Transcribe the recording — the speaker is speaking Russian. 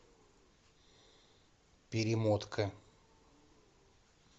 перемотка